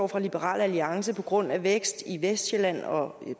fra liberal alliances på grund af vækst i vestsjælland og